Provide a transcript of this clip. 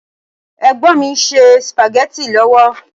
Ẹ̀gbọ́n mi ń ṣe Spaghetti lọ́wọ́